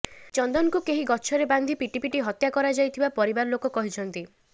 ଚନ୍ଦନଙ୍କୁ କେହି ଗଛରେ ବାନ୍ଧି ପିଟି ପିଟି ହତ୍ୟା କରାଯାଇଥିବା ପରିବାର ଲୋକେ କହିଛନ୍ତି